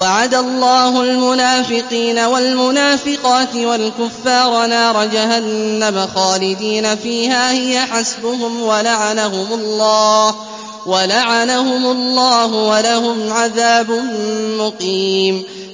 وَعَدَ اللَّهُ الْمُنَافِقِينَ وَالْمُنَافِقَاتِ وَالْكُفَّارَ نَارَ جَهَنَّمَ خَالِدِينَ فِيهَا ۚ هِيَ حَسْبُهُمْ ۚ وَلَعَنَهُمُ اللَّهُ ۖ وَلَهُمْ عَذَابٌ مُّقِيمٌ